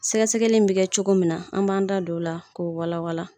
Sɛgɛsɛgɛli in bi kɛ cogo min na an b'an da don la k'o wala wala